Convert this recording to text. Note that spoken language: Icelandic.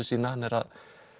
sína hann er að